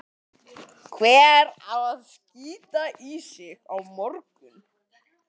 Hver á ekki að vera þarna?